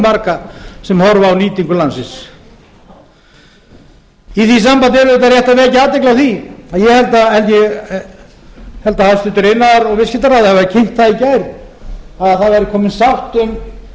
marga sem horfa á nýtingu landsins í því sambandi er auðvitað rétt að vekja athygli á að ég held að hæstvirtur iðnaðar og viðskiptaráðherra hafi kynnt það í gær að það væri komin sátt um